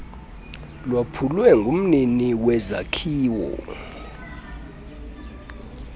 lwaphulwe ngumnini wezakhiwo